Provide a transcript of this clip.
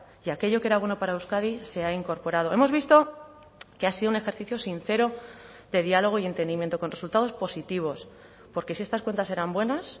y aquello que era bueno para euskadi se ha incorporado hemos visto que ha sido un ejercicio sincero de diálogo y entendimiento con resultados positivos porque si estas cuentas eran buenas